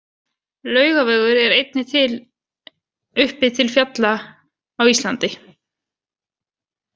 Laugavegur er einnig til uppi til fjalla á Íslandi.